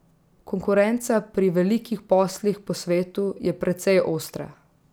Konkurenca pri velikih poslih po svetu je precej ostra.